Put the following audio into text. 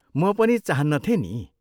म पनि चाहन्नथेँ नि।